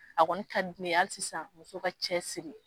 A kɔni ka di ne ye hali sisan muso ka cɛ siri